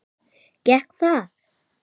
Gekk það?